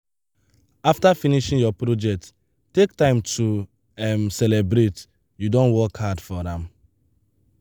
after finishing your project take time to um celebrate you don work hard for am.